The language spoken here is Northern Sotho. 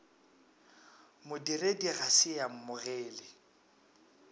modiredi ga se a amogele